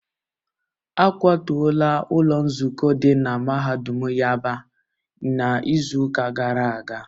A kwatuola ụlọ nzukọ dị na mahadum yaba n'izuụka gara aga